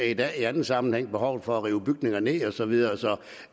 i dag i anden sammenhæng behovet for at rive bygninger ned og så videre så